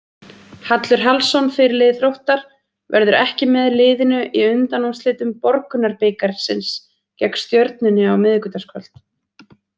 Hallur Hallsson, fyrirliði Þróttar, verður ekki með liðinu í undanúrslitum Borgunarbikarsins gegn Stjörnunni á miðvikudagskvöld.